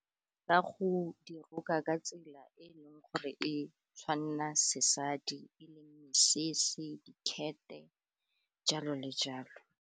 Ka go di roka ka tsela e e leng gore e tshwanna sesadi, e leng mesese, dikete, jalo le jalo.